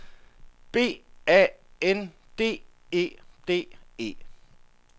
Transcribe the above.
B A N D E D E